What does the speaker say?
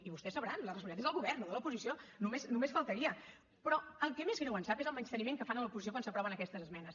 i vostès sabran la responsabilitat és del govern no de l’oposició només faltaria però el que més greu ens sap és el menyspreu que fan a l’oposició quan s’aproven aquestes esmenes